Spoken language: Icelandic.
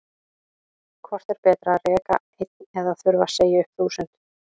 Hvort er betra að reka einn eða þurfa að segja upp þúsund?